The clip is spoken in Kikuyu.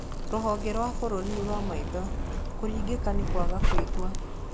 Rũhonge rwa bũrũri rwa maitho, kũringĩka nĩ kwaga kwĩigua.